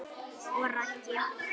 Og Raggi?